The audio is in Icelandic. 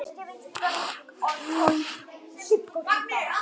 Sjá einnig svar sama höfundar við spurningunni Hvað er að skilja atburð?